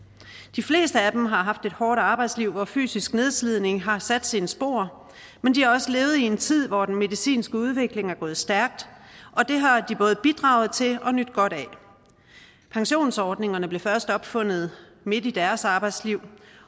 de fleste af dem har haft et hårdt arbejdsliv hvor fysisk nedslidning har sat sine spor men de har også levet i en tid hvor den medicinske udvikling er gået stærkt og det har de både bidraget til og nydt godt af pensionsordningerne blev først opfundet midt i deres arbejdsliv